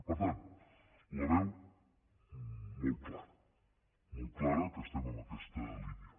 per tant la veu molt clara molt clara que estem en aquesta línia